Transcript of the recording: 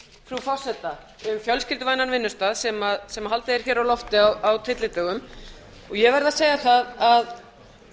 frú forseta um fjölskylduvænan vinnustað sem haldið er á lofti á tyllidögum og ég verð að segja að